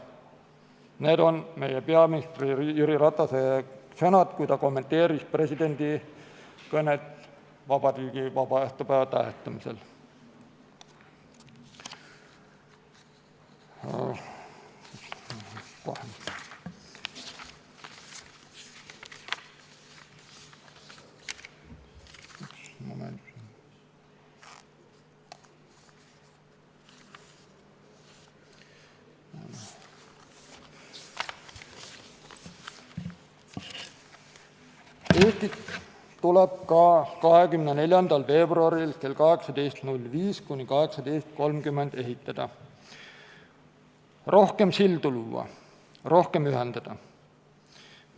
Need on meie peaministri Jüri Ratase sõnad, kui ta kommenteeris presidendi kõnet vabariigi aastapäeva tähistamisel: "Eestit tuleb ka 24. veebruaril kell 18.05 kuni 18.30 ehitada, rohkem sildu luua, rohkem ühendada.